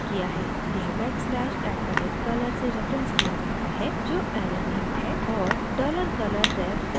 यह backslash @color से reference किया जाता है जो ऐरे नेम है और $colorref को असाइन किया जाता है